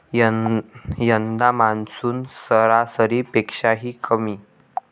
यंदा मान्सून सरा'सरी'पेक्षाही कमी!